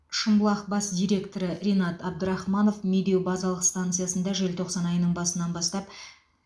шымбұлақ бас директоры ринат абдрахманов медеу базалық станциясында желтоқсан айының басынан бастап